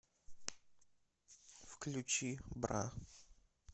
включи бра